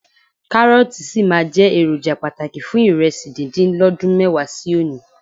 Kárọ́ọ̀tì sì máa jẹ́ èròjà pàtàkì fún ìrẹsì díndín lọ́dún mẹ́wàá sí òní.